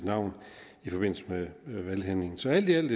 navn i forbindelse med valghandlingen så alt i alt